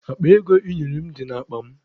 Akpa ego ị nyere m dị n'akpa m.